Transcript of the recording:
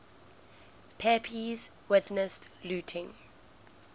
pepys witnessed looting